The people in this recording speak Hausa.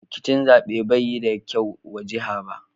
Rikicin zabe bai yi da kyau wa jiha ba.